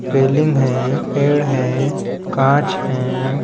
Railing है पेड़ हैं कांच हैं।